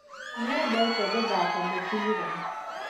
Nĩendete gũthaka mũbĩra.